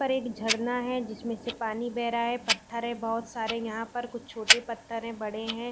ऊपर एक झरना है जिसमें से पानी बह रहा है पत्थर है बोहोत सारे यहाँ पर कुछ छोटे पत्थर है बड़े है ।